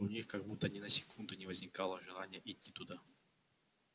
у них как будто ни на секунду не возникало желания идти туда